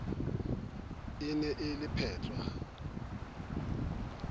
e ne e le phatswa